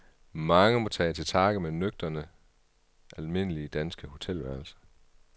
Mange må tage til takke med nøgterne, almindelige danske hotelværelser.